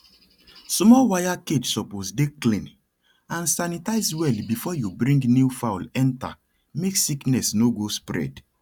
small wire cage suppose dey clean and sanitizie well before you bring new fowl enter make sickness no go spread